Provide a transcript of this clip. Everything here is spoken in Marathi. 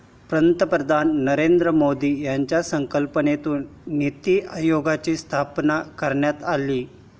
पंतप्रधान नरेंद्र मोदी यांच्या संकल्पनेतून नीती आयोगाची स्थापना करण्यात आली.